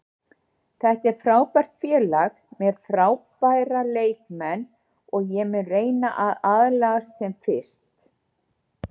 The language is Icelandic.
Þetta er frábært félag með frábæra leikmenn og ég mun reyna að aðlagast sem fyrst.